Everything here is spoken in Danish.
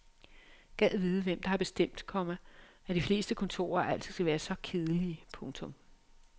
Gad vide hvem der har bestemt, komma at de fleste kontorer altid skal være så kedelige. punktum